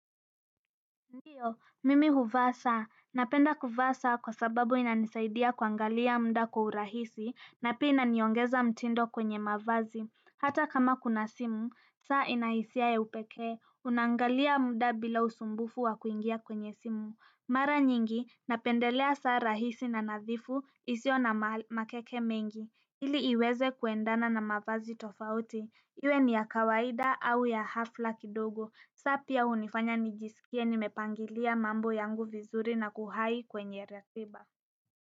Ndiyo, mimi huvaa saa, napenda kuvaa saa kwa sababu inanisaidia kuangalia muda kwa urahisi, na pia inaniongezea mtindo kwenye mavazi. Hata kama kuna simu, saa ina hisia ya upekee, unaangalia muda bila usumbufu wa kuingia kwenye simu. Mara nyingi, napendelea saa rahisi na nadhifu, isiyo na makeke mengi. Ili iweze kuendana na mavazi tofauti, iwe ni ya kawaida au ya hafla kidogo, saa pia hunifanya nijisikie nimepangilia mambo yangu vizuri na kuhai kwenye ratiba.